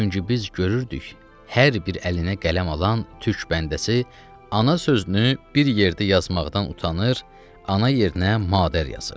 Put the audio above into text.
Çünki biz görürdük, hər bir əlinə qələm alan türk bəndəsi, ana sözünü bir yerdə yazmaqdan utanır, ana yerinə madər yazır.